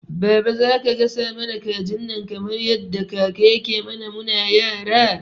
Baba zaka gasa mana kajin nan kamar yadda kaka yake mana muna yara?